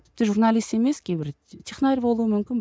тіпті журналист емес кейбір технарь болу мүмкін